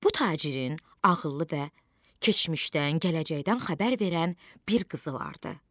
Bu tacirin ağıllı və keçmişdən, gələcəkdən xəbər verən bir qızı vardı.